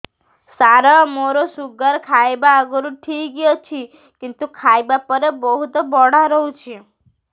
ସାର ମୋର ଶୁଗାର ଖାଇବା ଆଗରୁ ଠିକ ଅଛି କିନ୍ତୁ ଖାଇବା ପରେ ବହୁତ ବଢ଼ା ରହୁଛି